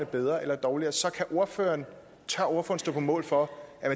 bedre eller dårligere så tør ordføreren stå på mål for at